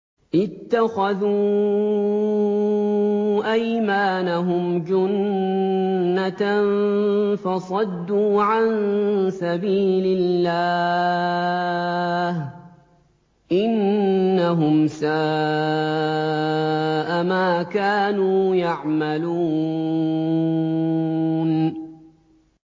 اتَّخَذُوا أَيْمَانَهُمْ جُنَّةً فَصَدُّوا عَن سَبِيلِ اللَّهِ ۚ إِنَّهُمْ سَاءَ مَا كَانُوا يَعْمَلُونَ